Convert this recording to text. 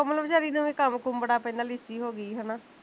ਕੋਮਲ ਵੀਚਾਰੀ ਨੂੰ ਵੀ ਕੰਮ ਕੁਮ ਬੜਾ ਪਹਿਲਾਂ ਲਿੱਸੀ ਹੋ ਗਈ ਸੀ ਹੈਨਾ